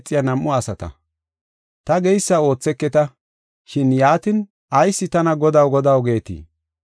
“Ta geysa ootheketa, shin yaatin ayis tana, ‘Godaw, Godaw, geetii?’